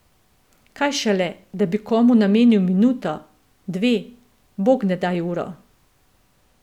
Kaj šele, da bi komu namenil minuto, dve, bognedaj uro.